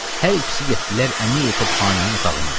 Hər ikisi getdilər Əmiri-Topxanənin otağına.